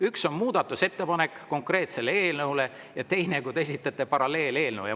Üks on muudatusettepanek konkreetse eelnõu kohta ja teine, kui te esitate paralleeleelnõu.